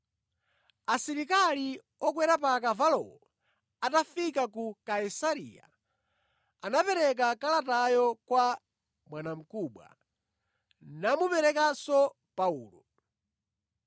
Asilikali okwera pa akavalowo atafika ku Kaisareya anapereka kalatayo kwa bwanamkubwa, namuperekanso Paulo.